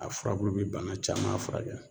A furabulu be bana caman furakɛ.